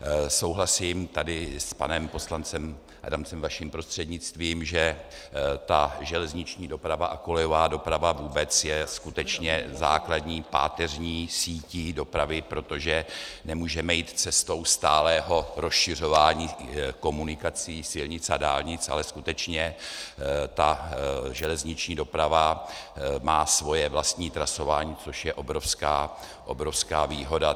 Souhlasím tady s panem poslancem Adamcem vaším prostřednictvím, že ta železniční doprava a kolejová doprava vůbec je skutečně základní páteřní sítí dopravy, protože nemůžeme jít cestou stálého rozšiřování komunikací, silnic a dálnic, ale skutečně ta železniční doprava má svoje vlastní trasování, což je obrovská výhoda.